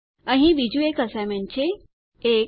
અહીં બીજું એક અસાઇનમેન્ટ છે ૧